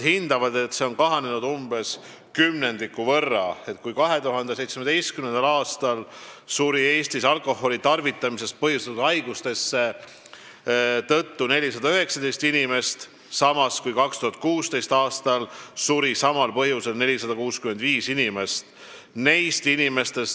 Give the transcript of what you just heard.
Nende hinnangul umbes kümnendiku võrra – kui 2016. aastal suri Eestis alkoholi tarvitamisest põhjustatud haiguste tõttu 465 inimest, siis 2017. aastal suri samadel põhjustel 419 inimest.